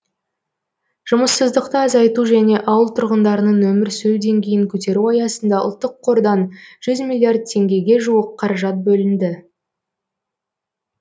жұмыссыздықты азайту және ауыл тұрғындарының өмір сүру деңгейін көтеру аясында ұлттық қордан жүз миллиард теңгеге жуық қаражат бөлінді